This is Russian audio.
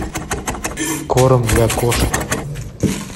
корм для кошек